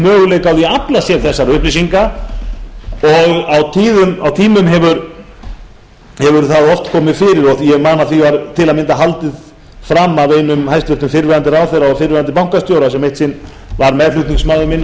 möguleika á því að afla sér þessara upplýsinga og á tímum hefur það oft komið fyrir og ég man að því var til að mynda haldið fram af einum hæstvirtur fyrrverandi ráðherra og fyrrverandi bankastjóra sem eitt sinn var meðflutningsmaður minn á